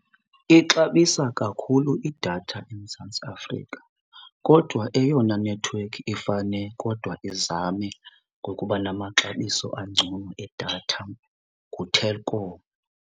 Ixabisa kakhulu idatha eMzantsi Afrika kodwa eyona nethiwekhi efane kodwa izame ngokuba namaxabiso angcono edatha nguTelkom.